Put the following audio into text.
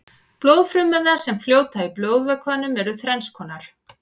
blóðfrumurnar sem fljóta í blóðvökvanum eru þrennskonar